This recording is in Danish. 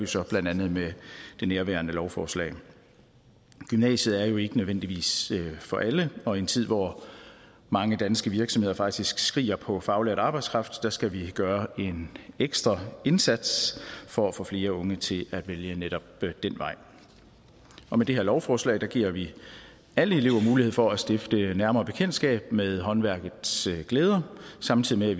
så blandt andet med det nærværende lovforslag gymnasiet er jo ikke nødvendigvis for alle og i en tid hvor mange danske virksomheder faktisk skriger på faglært arbejdskraft skal vi gøre en ekstra indsats for at få flere unge til at vælge netop den vej og med det her lovforslag giver vi alle elever mulighed for at stifte nærmere bekendtskab med håndværkets glæder samtidig med at